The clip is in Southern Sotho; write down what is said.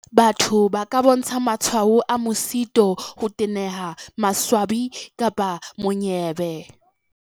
"Batho ba ka bontsha matshwao a mosito, ho teneha, maswabi kapa monyebe."